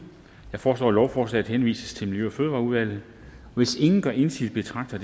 jeg foreslår at lovforslaget henvises til miljø og fødevareudvalget hvis ingen gør indsigelse betragter